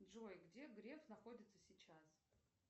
джой где греф находится сейчас